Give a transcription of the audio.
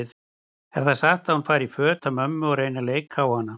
Er það satt að hún fari í föt af mömmu og reyni að leika hana?